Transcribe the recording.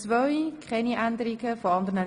(Keine Änderungen)